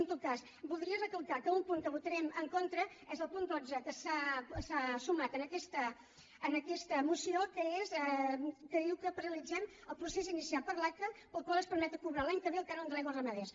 en tot cas voldria recalcar que un punt que votarem en contra és el punt dotze que s’ha sumat en aquesta moció que diu que paralitzem el procés inicial per l’aca pel qual es permet cobrar l’any que ve el cànon de l’aigua als ramaders